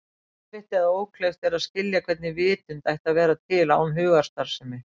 Erfitt eða ókleift er að skilja hvernig vitund ætti að vera til án hugarstarfsemi.